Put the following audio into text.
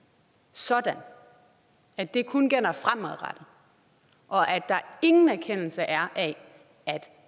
sådan at det kun gælder fremadrettet og at der ingen erkendelse er af at